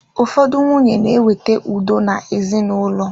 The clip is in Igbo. Ụfọdụ nwunye na ewete udo na ezinaụlọ.